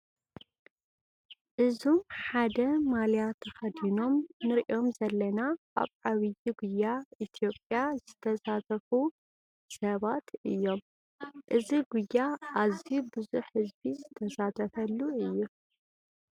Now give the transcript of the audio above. እዞም ሓደ ማሊያ ተኸዲኖም ንሪኦም ዘለና ኣብ ዓብዪ ጉያ ኢትዮጵያ ዝሳተፉ ሰባት እዮም፡፡ እዚ ጉያ ኣዝዩ ብዙሕ ህዝቢ ዝሳተፈሉ እዩ፡፡